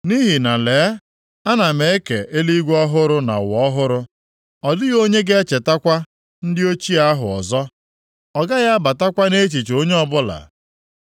“Nʼihi na lee, ana m eke eluigwe ọhụrụ na ụwa ọhụrụ. Ọ dịghị onye ga-echetakwa ndị ochie ahụ ọzọ; ọ gaghị abatakwa nʼechiche onye ọbụla.